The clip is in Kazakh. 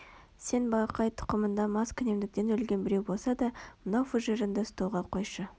сен балақай тұқымыңда маскүнемдіктен өлген біреу болса да мына фужеріңді столға қойшы